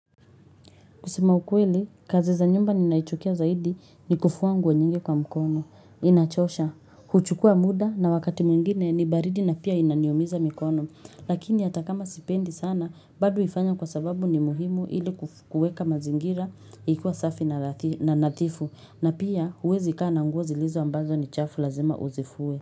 Kusema ukweli, kazi za nyumba ninaichukia zaidi ni kufua nguo nyingi kwa mkono. Inachosha, huchukua muda na wakati mwingine ni baridi na pia inaniumiza mikono. Lakini hata kama sipendi sana, bado huifanya kwa sababu ni muhimu ili kuweka mazingira ikiwa safi na nadhifu. Na pia uwezi kaa na nguo zilizo ambazo ni chafu lazima uzifue.